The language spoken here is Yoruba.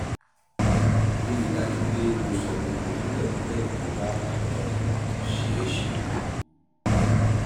rí i dájú pé o sọ gbogbo kúlẹ̀kúlẹ̀ tó bá um ṣe é ṣe